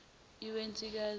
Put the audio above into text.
iwensikazi